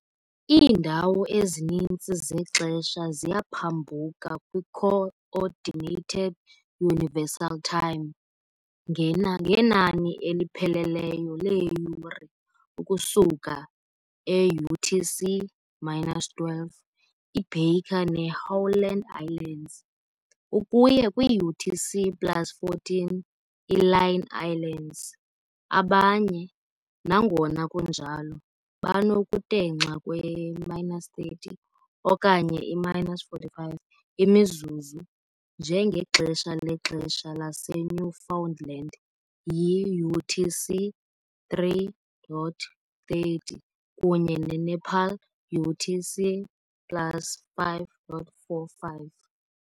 Iindawo ezininzi zexesha ziyaphambuka kwi -Coordinated Universal Time, UTC, ngena ngenani elipheleleyo leeyure ukusuka e-UTC-12, i- Baker ne- Howland Islands, ukuya kwi-UTC plus 14, i-Line Islands, abanye, nangona kunjalo, banokutenxa kwe-30 okanye i-45 imizuzu, njengexesha lexesha laseNewfoundland yi-UTC-3:30 kunye ne- Nepal UTC plus 5:45.